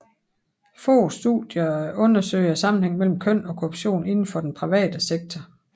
Få studier undersøger sammenhængen mellem køn og korruption inden for den private sektor